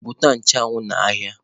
Zụta nchụanwụ n'ahịa!